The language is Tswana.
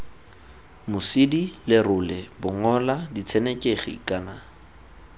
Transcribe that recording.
mosidi lerole bongola ditshenekegi kana